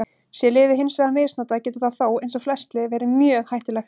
Sé lyfið hins vegar misnotað getur það þó, eins og flest lyf, verið mjög hættulegt.